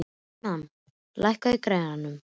Jóanna, lækkaðu í græjunum.